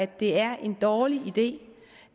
det er en dårlig idé